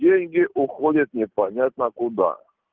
деньги уходят непонятно куда